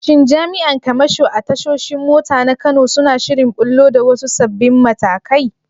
Shin jami’an kamasho a tashoshin mota na Kano suna shirin ɓullo da wasu sabbin matakai?